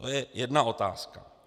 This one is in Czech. To je jedna otázka.